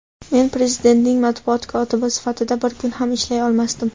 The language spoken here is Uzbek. men Prezidentning matbuot kotibi sifatida bir kun ham ishlay olmasdim.